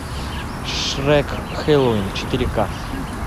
шрек хэллоуин четыре ка